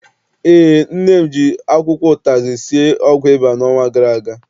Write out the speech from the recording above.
Eé, nne m ji akwụkwọ ụtazị sie ọgwụ ịba n'ọnwa gara aga.